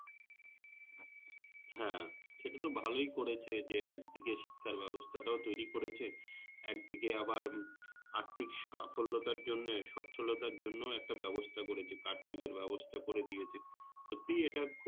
হ্যাঁ সেটাতো ভালোই করেছে যে একদিকে শিক্ষার ব্যবস্থাটাও তৈরী করেছে একদিকে আবার আর্থিক সাফল্যতার জন্যে সচ্ছলতার জন্যও একটা ব্যবস্থা করেছে কাঠমিলের ব্যবস্থা করে দিয়েছে সত্যিই এটা খুব